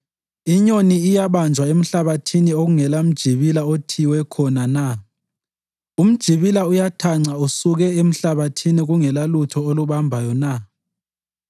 Inyoni iyabanjwa emhlabathini okungelamjibila othiywe khona na? Umjibila uyathanca usuke emhlabathini kungelalutho olubambayo na?